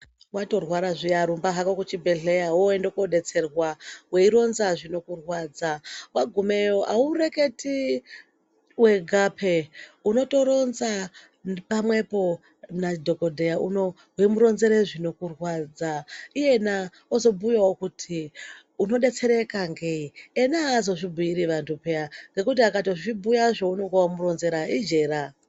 Wato rwara zviya rumba ku zvibhedhlera woende ko detserwa weironza zvinoku rwadza wagumeyo awu reketi wega pee unoto ronza pamwepo na dhokodheya unowu wei muronzere zvinoku rwadza iyana ozo bhuyawo kuti uno detsereka ngei iyena azozvi bhuiri antu peya nekuti akatozvi bhuya zvounonga wamu ronzera ijera.